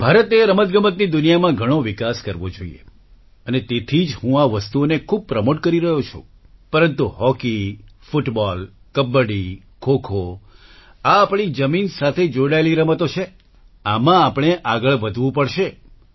ભારતે રમતગમતની દુનિયામાં ઘણો વિકાસ કરવો જોઈએ અને તેથી જ હું આ વસ્તુઓને ખૂબ પ્રમોટ કરી રહ્યો છું પરંતુ હોકી ફૂટબોલ કબડ્ડી ખોખો આ આપણી જમીન સાથે જોડાયેલી રમતો છે આમાં આપણે આગળ વધવું પડશે